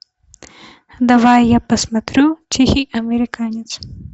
давай я посмотрю тихий американец